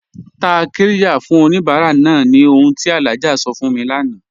Tá qirya fún oníbàrà náà ni ọ̀hun tí Alhaji sọ fún mí láńà